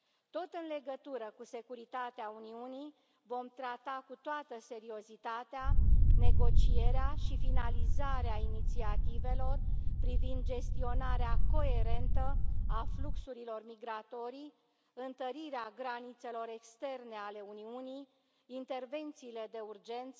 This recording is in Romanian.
Tot în legătură cu securitatea Uniunii, vom trata cu toată seriozitatea negocierea și finalizarea inițiativelor privind gestionarea coerentă a fluxurilor migratorii, întărirea granițelor externe ale Uniunii, intervențiile de urgență,